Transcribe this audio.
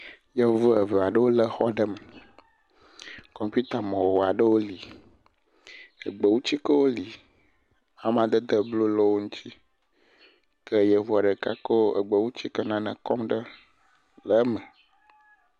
Yevu evea ɖewo le xɔ ɖe me, kɔmputa mɔ wɔa ɖo li, egbewu tsikewo li, amadede blu le wo ŋutsi, ke yevua ɖeka ko egbewu tsike nane kɔm ɖe le eme.